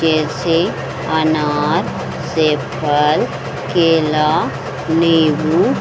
कैसे अनार सेब फल केला निम्बू --